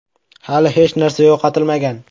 Hali hech narsa yo‘qotilmagan.